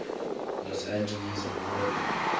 los angeles memorial